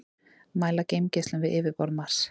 mæla geimgeislun við yfirborð mars